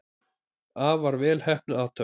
Afar vel heppnuð athöfn.